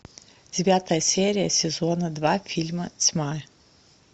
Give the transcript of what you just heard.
девятая серия сезона два фильма тьма